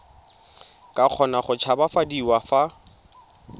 ka kgona go tshabafadiwa fa